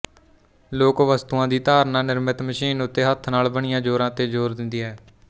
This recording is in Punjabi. ਲੋਕ ਵਸਤੂਆਂ ਦੀ ਧਾਰਣਾ ਨਿਰਮਿਤ ਮਸ਼ੀਨ ਉੱਤੇ ਹੱਥ ਨਾਲ ਬਣੀਆਂ ਜ਼ੋਰਾਂ ਤੇ ਜ਼ੋਰ ਦਿੰਦੀ ਹੈ